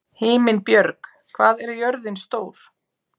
Himinbjörg, hvað er jörðin stór?